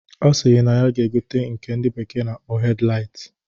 Ọ sịrị na ya ga-egote nke ndị bekee na-akpọ hedlait